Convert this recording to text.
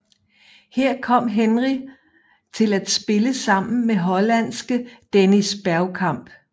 Her kom Henry til at spille sammen med hollandske Dennis Bergkamp